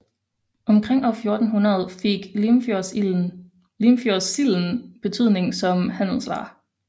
Omkring år 1400 fik Limfjordssilden betydning som handelsvare